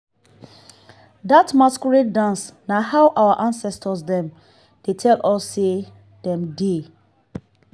dat masquerade dance na how our ancestor dem dey tell us sey dem dey.